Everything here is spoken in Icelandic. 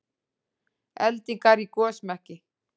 Eldingar í gosmekki